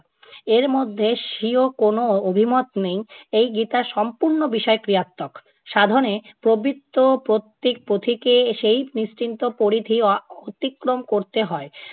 এর মধ্যে স্বীয় কোনো অভিমত নেই। এই গীতার সম্পূর্ণ বিষয় ক্রিয়াত্মক। সাধনে প্রবৃত্ত প্রত্যেক পথিককে সেই নিশ্চিন্ত পরিধি অ~ অতিক্রম করতে হয়।